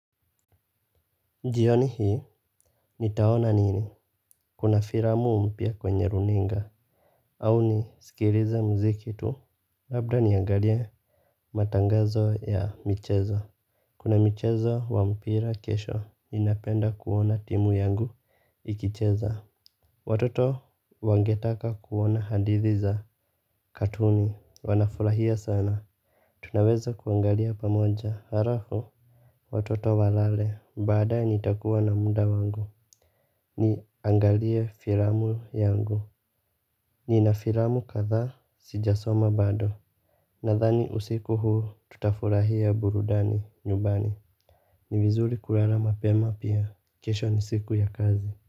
Jioni hii nitaona nini? Kuna filamu mpya kwenye runinga. Au nisikilize mziki tu. Labda niangalie matangazo ya michezo. Kuna michezo wa mpira kesho. Ninapenda kuona timu yangu ikicheza. Watoto wangetaka kuona hadithi za katuni. Wanafurahia sana. Tunaweza kuangalia pamoja halafu watoto walale, baadaye nitakuwa na muda wangu. Ni angalie filamu yangu. Ni na filamu kadhaa sijasoma bado. Nadhani usiku huu tutafurahia burudani nyumbani. Ni vizuri kulala mapema pia, kesho ni siku ya kazi.